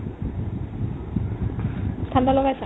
ঠাণ্ডা লগাইছা ?